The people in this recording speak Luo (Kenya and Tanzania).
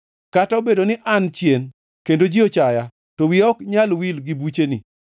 Kata obedo ni an chien kendo ji ochaya, to wiya ok nyal wil gi bucheni.